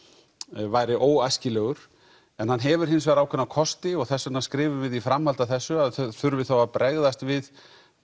væri óæskilegur en hann hefur hins vegar ákveðna kosti og þess vegna skrifum við að í framhaldi að þessu þurfi þá að bregðast við